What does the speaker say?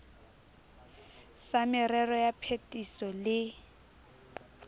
sa merero ya phetiso le